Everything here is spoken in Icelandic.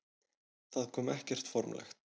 Það kom ekkert formlegt.